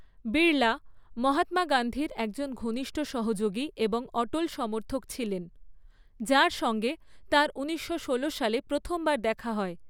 বিড়লা, মহাত্মা গান্ধীর একজন ঘনিষ্ঠ সহযোগী এবং অটল সমর্থক ছিলেন, যার সঙ্গে তাঁর ঊনিশশো ষোলো সালে প্রথমবার দেখা হয়।